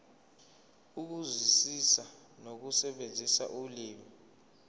ukuzwisisa nokusebenzisa ulimi